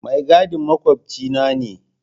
Mai gadin makwabcina ne.